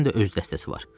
Hərənin də öz dəstəsi var.